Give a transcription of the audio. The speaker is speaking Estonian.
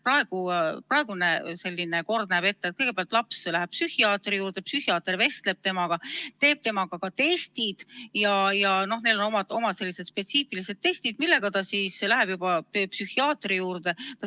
Praegune kord näeb ette, et kõigepealt läheb laps psühhiaatri juurde, psühhiaater vestleb temaga, teeb temaga ka testid – neil on omad spetsiifilised testid – ja nendega läheb laps siis juba juurde.